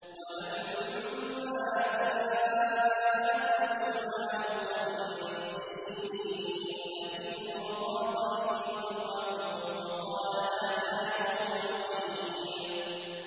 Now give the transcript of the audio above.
وَلَمَّا جَاءَتْ رُسُلُنَا لُوطًا سِيءَ بِهِمْ وَضَاقَ بِهِمْ ذَرْعًا وَقَالَ هَٰذَا يَوْمٌ عَصِيبٌ